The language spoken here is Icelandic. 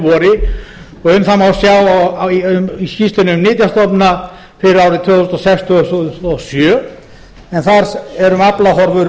og um það má sjá í skýrslunni um nytjastofna fyrir árið tvö þúsund og sex til tvö þúsund og sjö en þar er um aflahorfur